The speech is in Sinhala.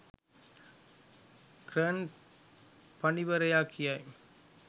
කර්න් පඬිවරයා කියයි.